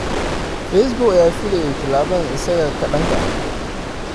Facebook ayaa filayey tallaabadan isaga ka dhanka ah.